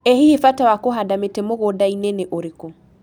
ĩ hihi mbata wa kũhanda mĩtĩ mũgũndainĩ nĩ ũrĩkũ